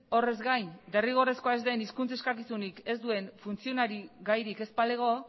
horrez gain derrigorrezkoa ez den hizkuntz eskakizunik ez duen funtzionari gairik ez balego